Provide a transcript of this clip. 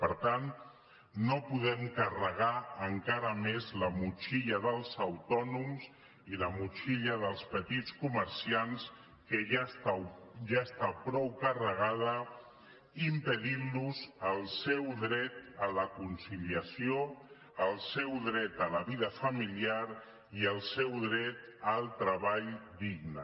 per tant no podem carregar encara més la motxilla dels autònoms i la motxilla dels petits comerciants que ja està prou carregada impedint los el seu dret a la conciliació el seu dret a la vida familiar i el seu dret al treball digne